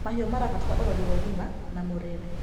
Mahĩũ marabatara ũrorĩ wa ũgĩma na mũrĩre